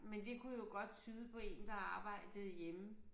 Men det kunne jo godt tyde på én der arbejdede hjemme